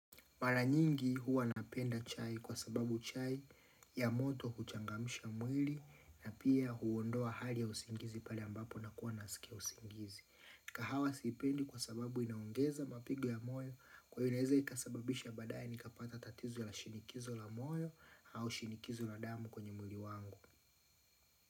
Maranyingi huwa napenda chai kwa sababu chai ya moto huchangamsha mwili na pia huondoa hali ya usingizi pale ambapo na kuwa nasikia usingizi. Kahawa sipendi kwa sababu inaongeza mapigwa ya moyo kwa hio naweza ikasababisha baadae nikapata tatizo ya la shinikizo la moyo au shinikizo la damu kwenye mwili wangu.